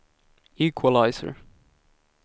equalizer